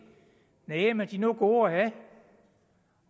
næh men de er nu gode at have